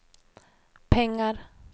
pengar